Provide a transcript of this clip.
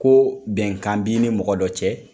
Ko bɛnkan b'i ni mɔgɔ dɔ cɛ